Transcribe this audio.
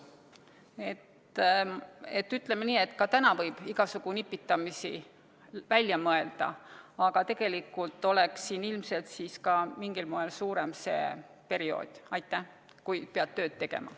Ütleme nii, et ka täna võib igasugu nipitamisi välja mõelda, aga tegelikult oleks siin ilmselt siis ka mingil moel pikem see periood, kui pead tööd tegema.